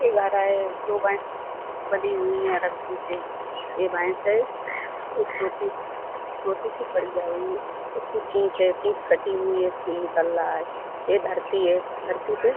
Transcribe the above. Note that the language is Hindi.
ए घर है। दो भैस बंधी हुई है रस्सी से ये भैस हैं छोटी सी छोटी सी पड़ी है इसकी पूंछ है पूंछ कटी हुई है खून निकल रहा है ये धरती है धरती पे --